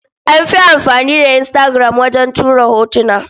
An fi amfani da Instagram wajen tura hotuna.